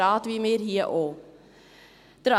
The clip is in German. Der CJB ist ein Rat wie wir hier auch.